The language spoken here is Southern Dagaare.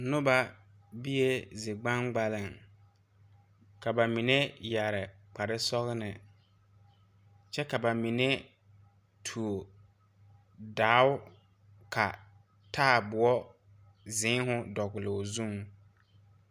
Noba biee zi gbaŋgbaleŋ ka ba mine yɛre kpare sɔgne kyɛ ka ba mine tuo dao ka taaboɔ zeeohu dɔgloo zuŋ.